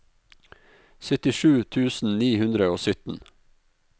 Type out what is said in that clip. syttisju tusen ni hundre og sytten